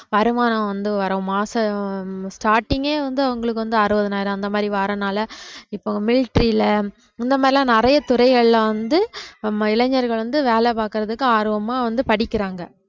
வருமானம் வந்து வரும் மாசம் starting ஏ வந்து அவங்களுக்கு வந்து அறுபதினாயிரம் அந்த மாதிரி வாரனால இப்ப military ல முன்ன மாதிரி எல்லாம் நிறைய துறைகள்ல வந்து நம்ம இளைஞர்கள் வந்து வேலை பார்க்கிறதுக்கு ஆர்வமா வந்து படிக்கிறாங்க